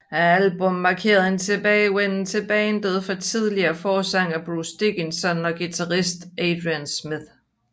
Albummet markerede en tilbagevenden til bandet for tidligere forsanger Bruce Dickinson og guitarist Adrian Smith